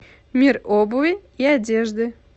мир обуви и одежды